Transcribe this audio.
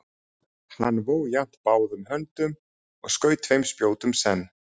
Hann vó jafnt báðum höndum og skaut tveim spjótum senn.